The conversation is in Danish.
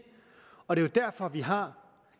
og det er jo derfor vi har